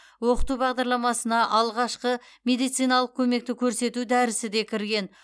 оқыту бағдарламасына алғашқы медициналық көмекті көрсету дәрісі де кірген